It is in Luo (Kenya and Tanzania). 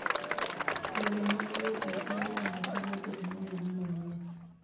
Yore mag wuoth e kor yamo konyo teknoloji manyien.